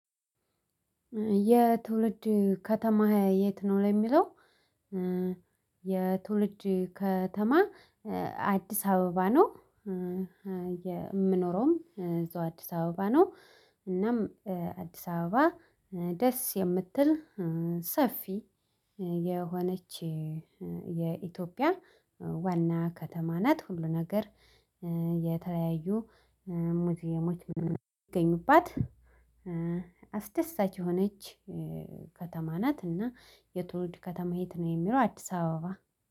የትውልድ ከተማ የት ነው? ለሚለው የትውልድ ከተማ አዲስ አበባ ነው። የምኖረውም እዛው አዲስ አበባ ነው። እናም አዲስ አበባ ደስ የምትል ሰፊ የሆነች የኢትዮጵያ ዋና ከተማ ናት ሁሉ ነገር የተለያዩ ሙዚየሞች ይሚገኙባት አስደሳች የሆነች ከተማ ናት። እና የትውልድ ከተማ የት ነው የሚለው አዲስ አበባ